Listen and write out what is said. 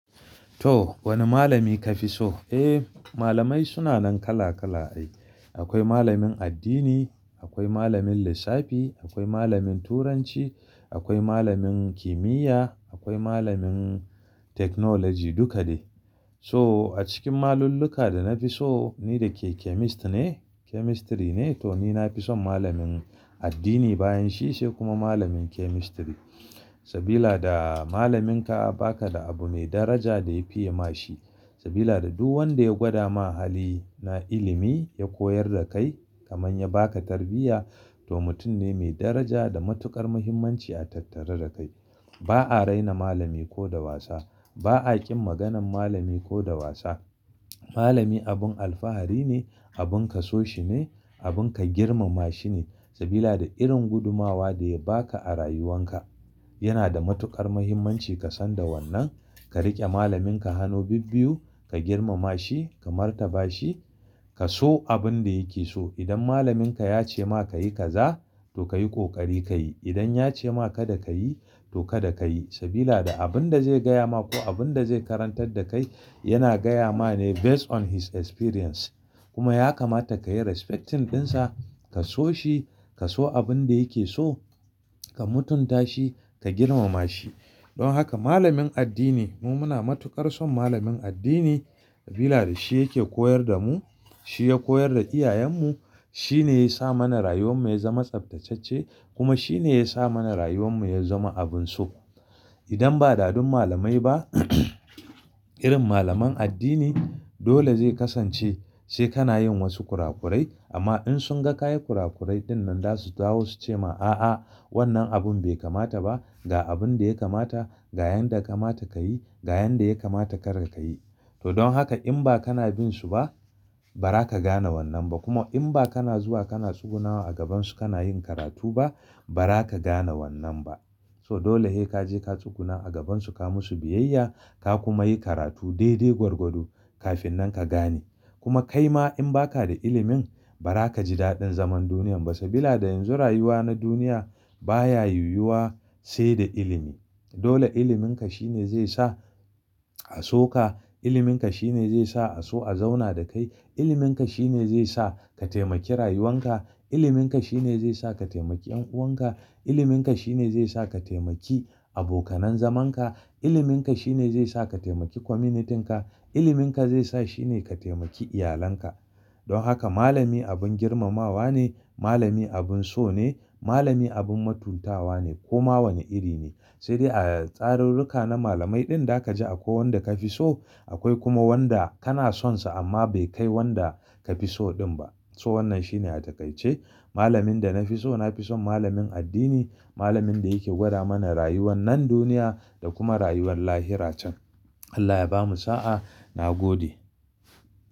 To wani malami ka fi so? Eh malamai suna nan kala kala. Akwai malamin addini, akwai malamin lissafi, akwai malamin turanci, akwai malamin kimiyya, akwai malamin technology duka dai. So a cikin malulluka da na fi so ni da ke chemist ne chemistry ne to ni na fi son malamin addini bayan shi sai kuma malamin chemistry. Sabila da malaminka baka da abu mai daraja da ya fiye ma shi. Sabila da duk wanda ya gwada ma hali na ilimi ya koyar da kai kamar ya baka tarbiyya to mutum ne mai daraja da matukar muhimmanci a tattare da kai. Ba a raina malami ko da wasa. Ba a ƙin maganan malami ko da wasa. Malami abin alfahari ne, abin ka so shi ne, abin ka girmama shi ne sabila da irin gudumawa da ya baka a rayuwan ka. Yana da matukar muhimmanci ka san da wannan ka riƙe malaminka hannu bibiyu, ka girmama shi, ka martaba shi, ka so abin da yake so. Idan malaminka ya ce ma ka yi kaza to ka yi ƙoƙari ka yi. Idan ya ce ma kada ka yi to kada ka yi. Sabila da abin da zai gaya ma ko abin da zai karantar da kai yana gaya ma ne based on his experience kuma ya kamata ka yi respecting ɗinsa, ka so shi, ka so abin da yake so, ka mutunta shi, ka girmama shi. Don haka malamin addini mu muna matukar son malamin addini sabila da shi yake koyar da mu, shi ya koyar da iyayenmu, shi ne ya sa mana rayuwan mu ya zama tsaftatacce kuma shi ne ya sa mana rayuwan mu ya zama abun so. Idan ba da dun malamai ba irin malaman addini dole zai kasance sai kana yin wasu kurakurai amma in sun ga ka yi kurakurai dinnan za su dawo su ce ma a'a wannan abun bai kamata ba, ga abin da ya kamata, ga yanda kamata ka yi, ga yanda ya kamata kar ka yi. To don haka in ba kana bin su ba ba za ka gane wannan ba kuma in ba kana zuwa kana tsugunawa a gabansu kana yin karatu ba ba za ka gane wannan ba. So dole he kaje ka tsuguna a gabansu ka musu biyayya ka kuma yi karatu dai dai gwargwado kafin nan ka gane. Kuma kai ma in ba ka da ilimin ba za ka ji daɗin zaman duniyya ba sabila da yanzu rayuwa na duniya baya yiwuwa sai da ilimi. Dole iliminka shine zai sa a so ka, iliminka shine zai sa a so a zauna da kai, iliminka shine zai sa ka taimaki rayuwan ka, iliminka shine zai sa ka taimaki 'yan'uwan ka, iliminka shine zai sa ka taimaki abokanan zaman ka, iliminka shine zai sa ka taimaki communityn ka, iliminka zai sa shine ka taimaki iyalinka. Don haka malami abin girmamawa ne, malami abin so ne, malami abin matuntawa ne koma wane iri ne. Sai dai a tsarurruka na malamai din da ka ji akwai wanda ka fi so akwai kuma wanda kana sonsa amma bai kai wanda ka fi so din ba. To wannan shine a da ka ce malamin da na fi so na fi son malamin addini, malamin da yake gwada mana rayuwan nan duniya da kuma rayuwar lahira can. Allah ya bamu sa'a. Na gode.